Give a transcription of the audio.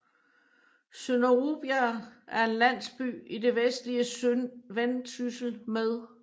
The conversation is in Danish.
Sønder Rubjerg er en landsby i det vestlige Vendsyssel med